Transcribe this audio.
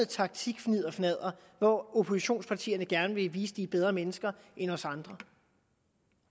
taktikfnidderfnadder hvor oppositionspartierne gerne vil vise at de er bedre mennesker end os andre